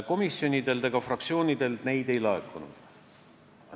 Komisjonidelt ega fraktsioonidelt neid ei laekunud.